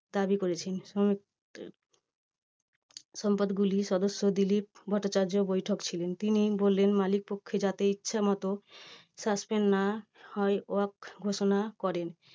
কাজই করেছেন। শ্রমিক সম্পদগুলির সদস্য দিলীপ ভট্টাচার্য্য বৈঠকে ছিলেন। তিনি বললেন মালিক পক্ষে যাতে ইচ্ছেমতো suspend না হয় উহা ঘোষণা করেন